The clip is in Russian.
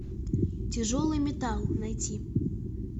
тяжелый металл найти